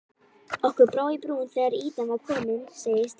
Okkur brá í brún þegar ýtan var komin segir Steini.